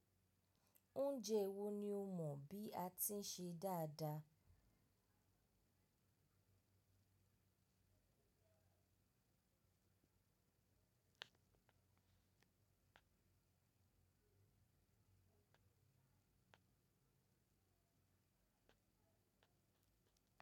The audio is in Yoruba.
Oúnjẹ wo ni o mọ̀ bí a ti ń ṣe dáadáa?